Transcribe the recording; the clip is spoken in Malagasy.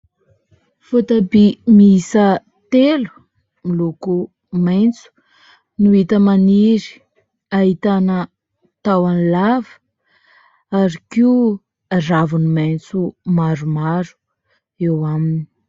Voatabia miisa telo miloko maitso no hita maniry. Ahitana tahony lava ary koa raviny maitso maromaro eo aminy.